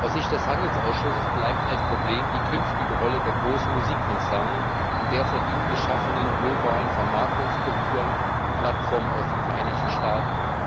Aus Sicht des Handelsausschusses bleibt ein Problem die künftige Rolle der großen Musikkonzerne und der von ihnen geschaffenen globalen Vermarktungsstrukturen und Plattformen aus den Vereinigten Staaten.